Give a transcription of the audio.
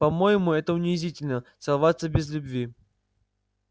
по-моему это унизительно целоваться без любви